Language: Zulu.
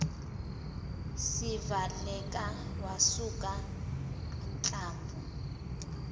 sivaleka wasuka inhlamvu